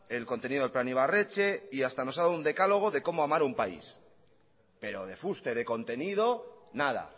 el contenido del plan ibarretxe y hasta nos ha dado un decálogo de como amar un país pero de fuste de contenido nada